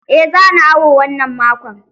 Eh zani awo wannan makon.